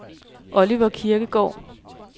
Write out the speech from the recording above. Oliver Kirkegaard